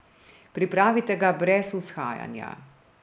Pripravite ga brez vzhajanja.